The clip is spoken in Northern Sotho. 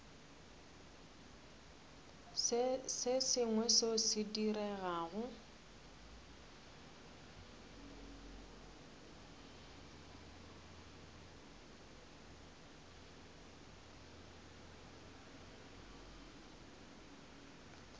se sengwe seo se diregago